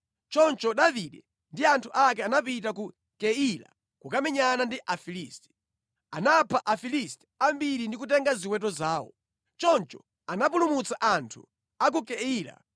Choncho Davide ndi anthu ake anapita ku Keila kukamenyana ndi Afilisti. Anapha Afilisti ambiri ndi kutenga ziweto zawo. Choncho anapulumutsa anthu a ku Keila.